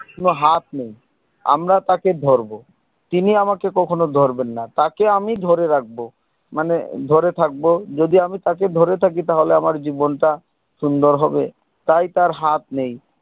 কোনো হাত নেই আমরা তাকে ধরবো তিনি আমাকে কখনো ধরবেন না তাকে আমি ধরে রাখবো মানে ধরে থাকবো যদি আমি তাকে ধরে থাকি তাহলে আমার জীবন টা সুন্দর হবে তাই তার হাত নেই